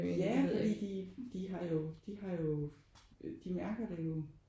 Ja fordi de de har jo de har jo øh de mærker det jo